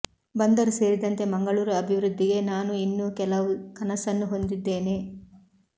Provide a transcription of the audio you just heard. ಬಂದರು ಸೇರಿದಂತೆ ಮಂಗಳೂರು ಅಭಿವೃದ್ಧಿಗೆ ನಾನು ಇನ್ನೂ ಕೆಲವು ಕನಸನ್ನು ಹೊಂದಿದ್ದೇನೆ